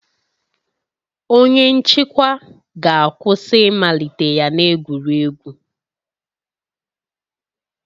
Onye nchịkwa ga-akwụsị ịmalite ya na egwuregwu